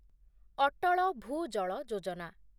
Atal Bhujal Yojana